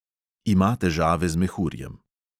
Ima težave z mehurjem.